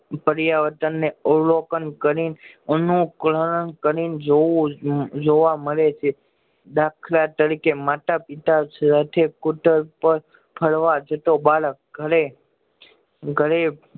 પર્યાયવાર્તાન ને અવલોકન કરી અનુકરણ કરી ને જોવું જોવા મળે છે દાખલાતરીકે માતા પિતા સાથે સ્કૂટર પર ફરવા જતો બાળક ઘરે ઘરે